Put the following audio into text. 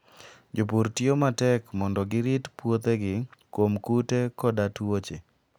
Jopur tiyo matek mondo girit puothegi kuom kute koda tuoche.